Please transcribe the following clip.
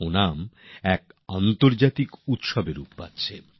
ও একটি আন্তর্জাতিক উৎসব হয়ে উঠছে